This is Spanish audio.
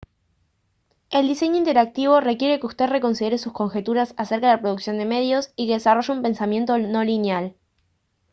el diseño interactivo requiere que usted reconsidere sus conjeturas acerca de la producción de medios y que desarrolle un pensamiento no lineal